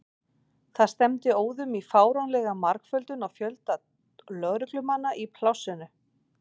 Það stefndi óðum í fáránlega margföldun á fjölda lögreglumanna í plássinu.